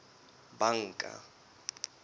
banka